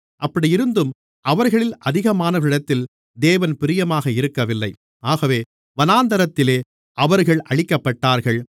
அப்படியிருந்தும் அவர்களில் அதிகமானவர்களிடத்தில் தேவன் பிரியமாக இருக்கவில்லை ஆகவே வனாந்திரத்திலே அவர்கள் அழிக்கப்பட்டார்கள்